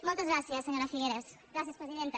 moltes gràcies senyora figueras gràcies presidenta